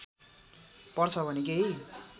पर्छ भने केही